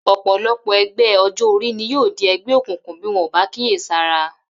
Ò̩pò̩lo̩pò̩ e̩gbé̩ o̩jó̩-orí ni yóò di e̩gbé̩ òkùnkùn bí wo̩n ò bá kíyèsára